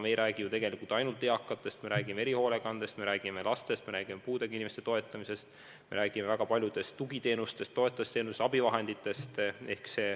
Me ei räägi ju tegelikult ainult eakatest, me räägime erihoolekandest, me räägime lastest, me räägime puudega inimeste toetamisest, me räägime väga paljudest tugiteenustest, toetavatest teenustest, abivahenditest.